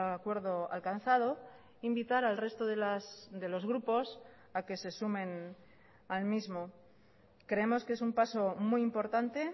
acuerdo alcanzado invitar al resto de los grupos a que se sumen al mismo creemos que es un paso muy importante